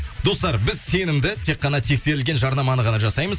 достар біз сенімді тек қана тексерілген жарнаманы ғана жасаймыз